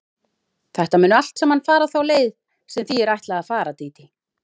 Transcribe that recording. Þetta mun allt saman fara þá leið sem því er ætlað að fara, Dídí.